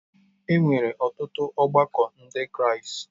E nwere ọtụtụ ọgbakọ Ndị Kraịst.